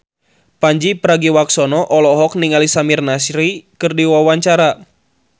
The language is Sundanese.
Pandji Pragiwaksono olohok ningali Samir Nasri keur diwawancara